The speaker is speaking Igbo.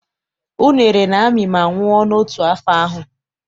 Unere na-amị ma nwụọ n'otu afọ ahụ.